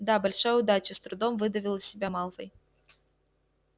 да большая удача с трудом выдавил из себя малфой